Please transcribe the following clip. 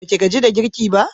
Baki gaji da kirge ba?